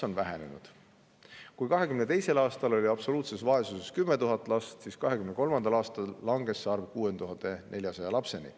Kui 2022. aastal oli absoluutses vaesuses 10 000 last, siis 2023. aastal langes see arv 6400-ni.